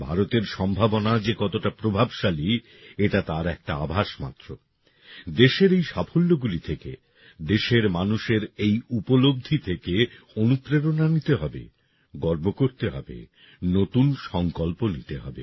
ভারতের সম্ভাবনা যে কতটা প্রভাবশালী এটা তার একটা আভাস মাত্র দেশের এই সাফল্যগুলি থেকে দেশের মানুষের এই উপলব্ধিগুলি থেকে অনুপ্রেরণা নিতে হবে গর্ব করতে হবে নতুন সংকল্প নিতে হবে